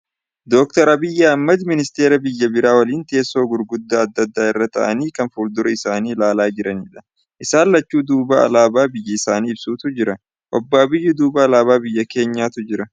DoctorAbiy Ahimad ministeera biyya biraa waliin teessoo gurguddaa adda addaa irra taa'anii kan fuldura isaanii laalaa jiranidha. Isaan lachuu duuba alaabaa biyya isaanii ibsutu jira. Obbo Abiy duuba alaabaa biyya keenyaatu jira.